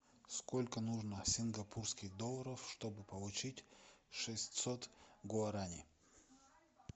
сколько нужно сингапурских долларов чтобы получить шестьсот гуарани